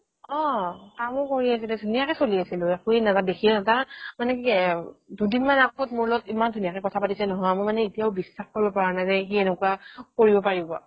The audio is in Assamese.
অ, কামো কৰি আছিলে ধুনীয়াকে চলি আছিলো দেখিয়ে তাৰ মানে কি এ অ দুদিনমান আগত মোৰ লগত ইমান ধুনীয়াকে কথা পাতিছে নহয় মই মানে এতিয়াও বিশ্বাস কৰিব পৰা নাই যে সি এনেকুৱা কৰিব পাৰিব